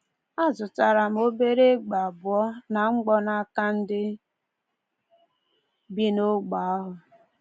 Azụtara m obere egbe abụọ na mgbọ n’aka ndị bi n’ogbe ahụ.